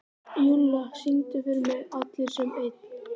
Júlla, syngdu fyrir mig „Allir sem einn“.